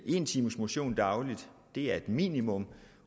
en times motion dagligt er et minimum